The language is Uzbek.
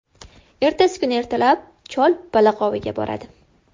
Ertasi kuni ertalab chol baliq oviga boradi.